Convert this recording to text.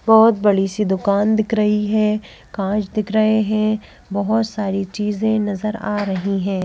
बहुत बड़ी सी दुकान दिख रही है कांच दिख रहे हैं बहुत सारी चीजें नजर आ रही हैं।